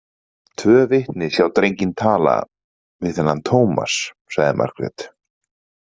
Tvö vitni sjá drenginn tala við þennan Tómas, sagði Margrét.